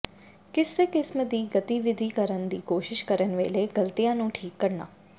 ਕਿਸੇ ਕਿਸਮ ਦੀ ਗਤੀਵਿਧੀ ਕਰਨ ਦੀ ਕੋਸ਼ਿਸ਼ ਕਰਨ ਵੇਲੇ ਗਲਤੀਆਂ ਨੂੰ ਠੀਕ ਕਰਨਾ